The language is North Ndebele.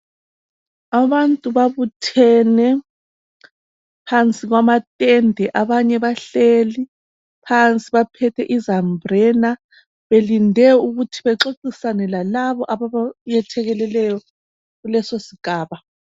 Abantu babuthene phansi kwamatende. Abanye bahleli phansi baphethe izambulena belinde ukuthi bexoxisane lalabo ababayethekeleleyo kulesisigaba.